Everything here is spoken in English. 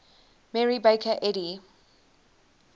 mary baker eddy